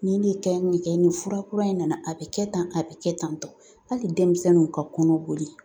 Nin de kɛ, nin kɛ, nin fura kura in na na a bɛ kɛ tan, a bɛ kɛ tan tɔ hali denmisɛnninw ka kɔnɔ boli